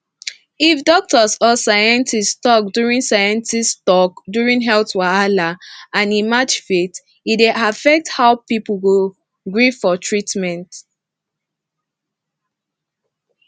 if doctor or scientist talk during scientist talk during health wahala and e match faith e dey affect how people go gree for treatment